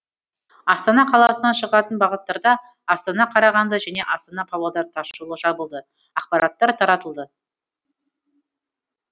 астана қаласынан шығатын бағыттарда астана қарағанды және астана павлодар тасжолы жабылды ақпараттар таратылды